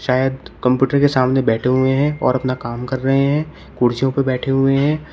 शायद कंप्यूटर के सामने बैठे हुए हैं और अपना काम कर रहे हैं कुर्सियों पर बैठे हुए हैं।